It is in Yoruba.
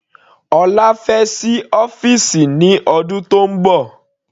Ọlá fẹ́ sí ọ́fìsì ní ọdún tónbọ̀.